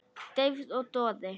Deyfð og doði.